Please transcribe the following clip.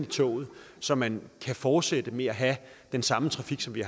toget så man kan fortsætte med at have den samme trafik som vi